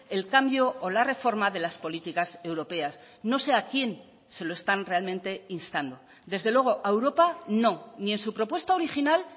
el cambio o la reforma de las políticas europeas no sé a quién se lo están realmente instando desde luego a europa no ni en su propuesta original